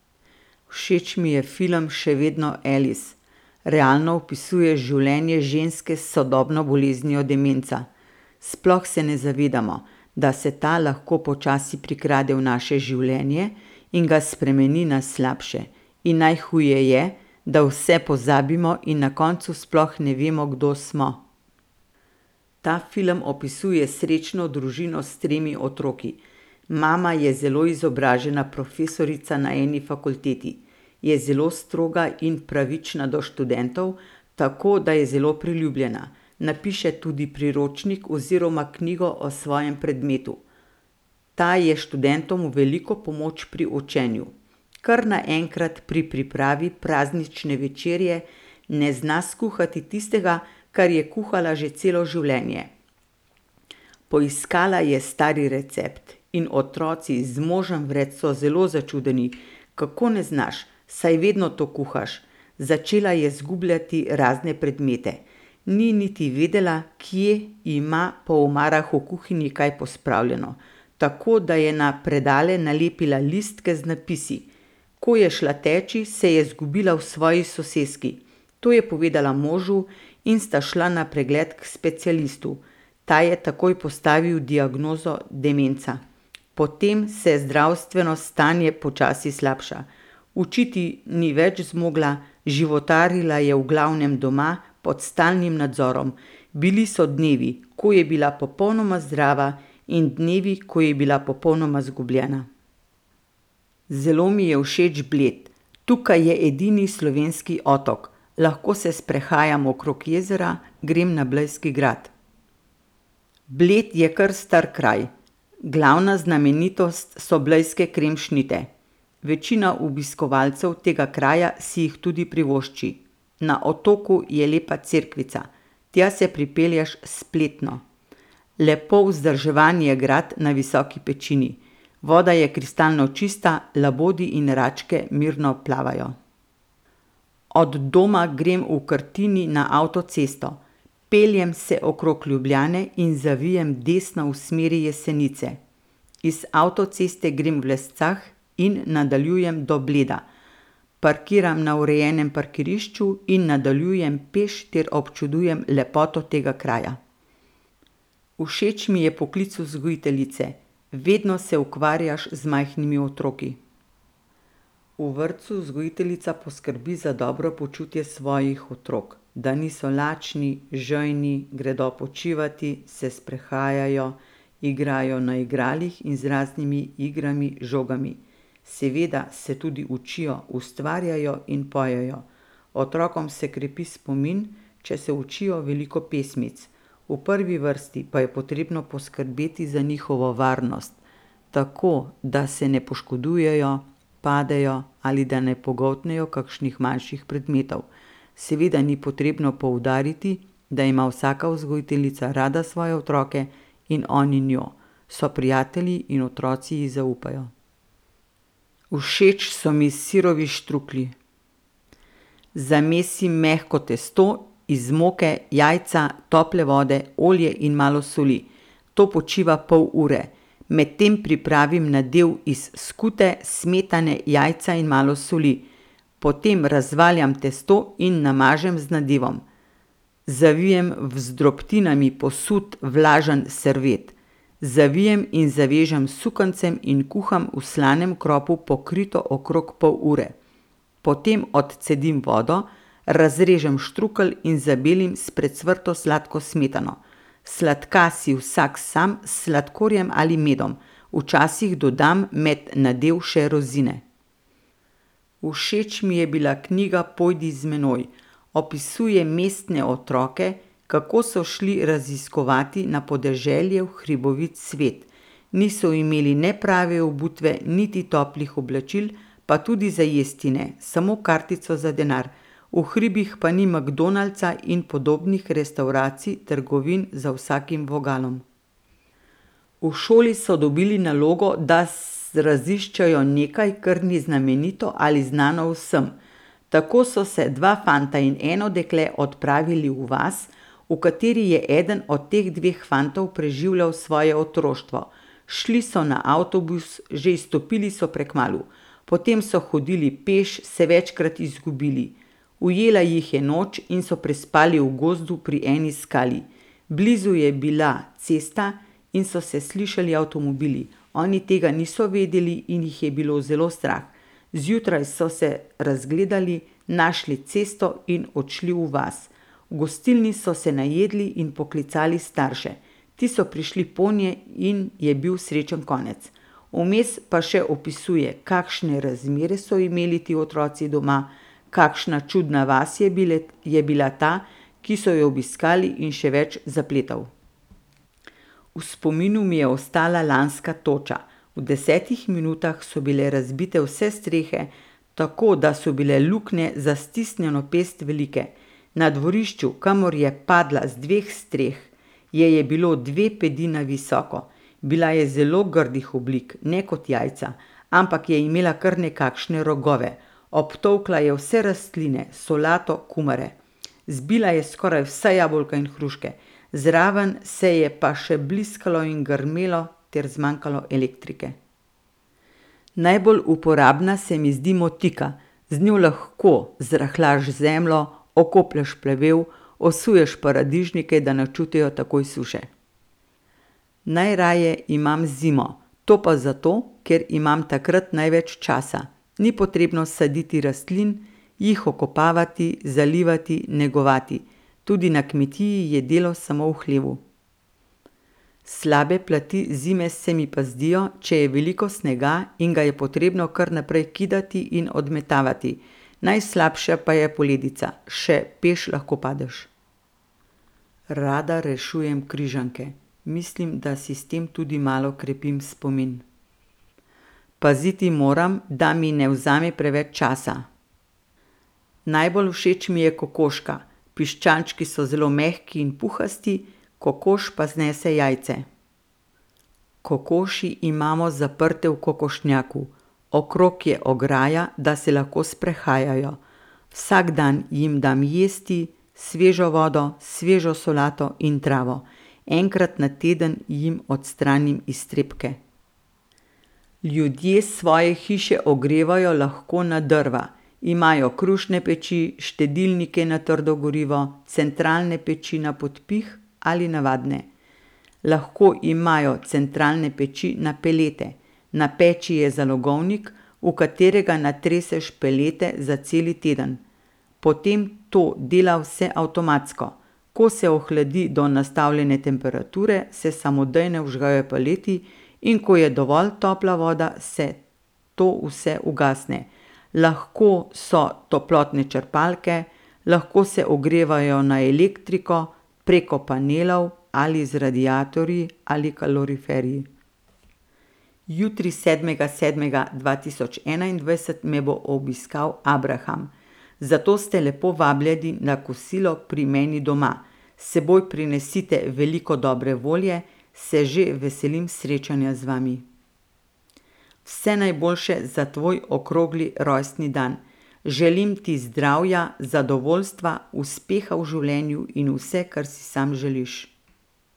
Všeč mi je film Še vedno Alice. Realno opisuje življenje ženske s sodobno boleznijo demenca. Sploh se ne zavedamo, da se ta lahko počasi prikrade v naše življenje in ga spremeni na slabše. In najhuje je, da vse pozabimo in na koncu sploh ne vemo, kdo smo. Ta film opisuje srečno družino s tremi otroki. Mama je zelo izobražena profesorica na eni fakulteti. Je zelo stroga in pravična do študentov, tako da je zelo priljubljena. Napiše tudi priročnik oziroma knjigo o svojem predmetu. Ta je študentom v veliko pomoč pri učenju. Kar naenkrat pri pripravi praznične večerje ne zna skuhati tistega, kar je kuhala že celo življenje. Poiskala je stari recept in otroci z možem vred so zelo začudeni: "Kako ne znaš?" Saj vedno to kuhaš. Začela je izgubljati razne predmete. Ni niti vedela, kje ima po omarah v kuhinji kaj pospravljeno. Tako da je na predale nalepila listke z napisi. Ko je šla teč, se je izgubila v svoji soseski. To je povedala možu in sta šla na pregled k specialistu. Ta je takoj postavil diagnozo demenca. Potem se zdravstveno stanje počasi slabša. Učiti ni več zmogla, životarila je v glavnem doma, pod stalnim nadzorom. Bili so dnevi, ko je bila popolnoma zdrava, in dnevi, ko je bila popolnoma izgubljena. Zelo mi je všeč Bled. Tukaj je edini slovenski otok. Lahko se sprehajam okrog jezera, grem na blejski grad. Bled je kar star kraj. Glavna znamenitost so blejske kremšnite. Večina obiskovalcev tega kraja si jih tudi privošči. Na otoku je lepa cerkvica. Tja se pripelješ s pletno. Lepo vzdrževan je grad na visoki pečini. Voda je kristalno čista, labodi in račke mirno plavajo. Od doma grem v Krtini na avtocesto. Peljem se okrog Ljubljane in zavijem desno v smeri Jesenice. Iz avtoceste grem v Lescah in nadaljujem do Bleda. Parkiram na urejenem parkirišču in nadaljujem peš ter občudujem lepoto tega kraja. Všeč mi je poklic vzgojiteljice. Vedno se ukvarjaš z majhnimi otroki. V vrtcu vzgojiteljica poskrbi za dobro počutje svojih otrok. Da niso lačni, žejni, gredo počivat, se sprehajajo, igrajo na igralih in z raznimi igrami, žogami. Seveda se tudi učijo, ustvarjajo in pojejo. Otrokom se krepi spomin, če se učijo veliko pesmic. V prvi vrsti pa je potrebno poskrbeti za njihovo varnost tako, da se ne poškodujejo, padejo ali da ne pogoltnejo kakšnih manjših predmetov. Seveda ni potrebno poudariti, da ima vsaka vzgojiteljica rada svoje otroke in oni njo. So prijatelji in otroci ji zaupajo. Všeč so mi sirovi štruklji. Zamesim mehko testo iz moke, jajca, tople vode, olja in malo soli. To počiva pol ure. Medtem pripravim nadev iz skute, smetane, jajca in malo soli. Potem razvaljam testo in namažem z nadevom. Zavijem v z drobtinami posut vlažen servet. Zavijem in zavežem s sukancem in kuham v slanem kropu pokrito okrog pol ure. Potem odcedim vodo, razrežem štrukelj in zabelim s precvrto sladko smetano. Sladka si vsak sam s sladkorjem ali medom. Včasih dodam med nadev še rozine. Všeč mi je bila knjiga Pojdi z menoj. Opisuje mestne otroke, kako so šli raziskovat na podeželje v hribovit svet. Niso imeli ne prave obutve niti toplih oblačil, pa tudi za jesti ne. Samo kartico za denar. V hribih pa ni McDonald'sa in podobnih restavracij, trgovin za vsakim vogalom. V šoli so dobili nalogo, da raziščejo nekaj, kar ni znamenito ali znano vsem. Tako so se dva fanta in eno dekle odpravili v vas, v kateri je eden od teh dveh fantov preživljal svoje otroštvo. Šli so na avtobus, že izstopili so prekmalu. Potem so hodili peš, se večkrat izgubili. Ujela jih je noč in so prespali v gozdu pri eni skali. Blizu je bila cesta in so se slišali avtomobili. Oni tega niso vedeli in jih je bilo zelo strah. Zjutraj so se razgledali, našli cesto in odšli v vas. V gostilni so se najedli in poklicali starše. Ti so prišli ponje in je bil srečen konec. Vmes pa še opisuje, kakšne razmere so imeli ti otroci doma, kakšna čudna vas je je bila ta, ki so jo obiskali, in še več zapletov. V spominu mi je ostala lanska toča. V desetih minutah so bile razbite vse strehe, tako da so bile luknje za stisnjeno pest velike. Na dvorišču, kamor je padla z dveh streh, je je bilo dve pedi na visoko. Bila je zelo grdih oblik, ne kot jajca, ampak je imela kar nekakšne rogove. Obtolkla je vse rastline, solato, kumare. Zbila je skoraj vsa jabolka in hruške, zraven se je pa še bliskalo in grmelo ter zmanjkalo elektrike. Najbolj uporabna se mi zdi motika. Z njo lahko zrahljaš zemljo, okoplješ plevel, osuješ paradižnike, da ne čutijo takoj suše. Najraje imam zimo. To pa zato, ker imam takrat največ časa. Ni potrebno saditi rastlin, jih okopavati, zalivati, negovati. Tudi na kmetiji je delo samo v hlevu. Slabe plati zime se mi pa zdijo, če je veliko snega in ga je potrebno kar naprej kidati in odmetavati. Najslabša pa je poledica. Še peš lahko padeš. Rada rešujem križanke. Mislim, da si s tem tudi malo krepim spomin. Paziti moram, da mi ne vzame preveč časa. Najbolj všeč mi je kokoška. Piščančki so zelo mehki in puhasti, kokoš pa znese jajce. Kokoši imamo zaprte v kokošnjaku. Okrog je ograja, da se lahko sprehajajo. Vsak dan jim dam jesti, svežo vodo, svežo solato in travo. Enkrat na teden jim odstranim iztrebke. Ljudje svoje hiše ogrevajo lahko na drva. Imajo krušne peči, štedilnike na trdo gorivo, centralne peči na podpih ali navadne. Lahko imajo centralne peči na pelete. Na peči je zalogovnik, v katerega natreseš pelete za cel teden. Potem to dela vse avtomatsko. Ko se ohladi do nastavljene temperature, se samodejno vžgejo peleti, in ko je dovolj topla voda, se to vse ugasne. Lahko so toplotne črpalke, lahko se ogrevajo na elektriko preko panelov ali z radiatorji ali kaloriferji. Jutri, sedmega sedmega dva tisoč enaindvajset, me bo obiskal abraham. Zato ste lepo vabljeni na kosilo pri meni doma. S seboj prinesite veliko dobre volje. Se že veselim srečanja z vami. Vse najboljše za tvoj okrogli rojstni dan. Želim ti zdravja, zadovoljstva, uspeha v življenju in vse, kar si sam želiš.